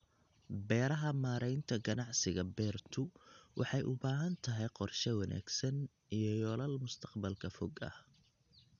Beeraha Maareynta ganacsiga beertu waxay u baahan tahay qorshe wanaagsan iyo yoolal mustaqbalka fog ah.